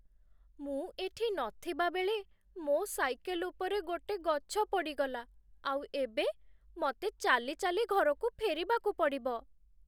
ମୁଁ ଏଠି ନଥିବା ବେଳେ ମୋ' ସାଇକେଲ ଉପରେ ଗୋଟେ ଗଛ ପଡ଼ିଗଲା, ଆଉ ଏବେ ମତେ ଚାଲି ଚାଲି ଘରକୁ ଫେରିବାକୁ ପଡ଼ିବ ।